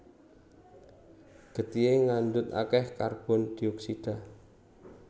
Getihé ngandhut akèh karbon dioksida